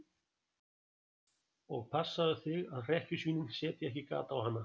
Og passaðu þig að hrekkjusvínin setji ekki gat á hana.